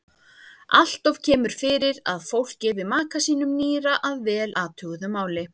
Alloft kemur fyrir að fólk gefi maka sínum nýra að vel athuguðu máli.